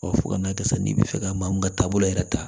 fo ka n'a kɛ sisan n'i bɛ fɛ ka maa min ka taabolo yɛrɛ ta